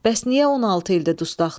Bəs niyə 16 ildi dustaqdır?